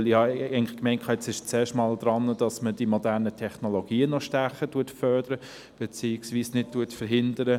Denn ich habe eigentlich gemeint, jetzt stehe zuerst einmal im Vordergrund, dass man die modernen Technologien noch stärker fördere, beziehungsweise nicht behindere.